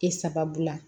E sababu la